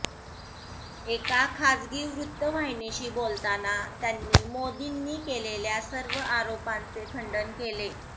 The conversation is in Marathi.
एका खासगी वृत्तवाहिनीशी बोलताना त्यांनी मोदींनी केलेल्या सर्व आरोपांचे खंडन केले